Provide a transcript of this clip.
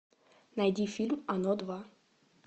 найди фильм оно два